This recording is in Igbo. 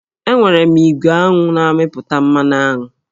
Enwere m igwe aṅụ na-amịpụta mmanụ aṅụ